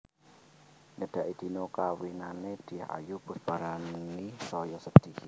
Nyedaki dina kawinane Dyah Ayu Pusparani saya sedih